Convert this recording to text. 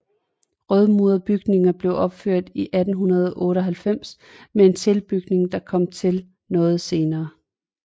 Rødmurede bygninger blev opført i 1898 med en tilbygning der kom til noget senere